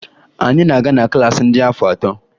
Anyị na-aga na klaasị ndị afọ atọ